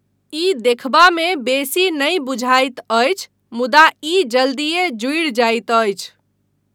ई देखबामे बेसी नहि बुझाइत अछि, मुदा ई जल्दीए जुड़ि जाइत अछि।